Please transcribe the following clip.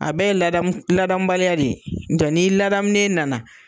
A bɛ ye ladamu ladamubaliya de ye, n'o tɛ n'i ladamunen nana